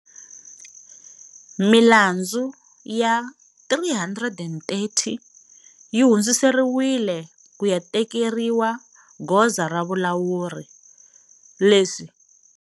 Milandzu ya 330 yi hundziserilwile ku ya tekeriwa goza ra vulawuri, leswi.